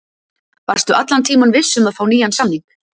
Varstu allan tímann viss um að fá nýjan samning?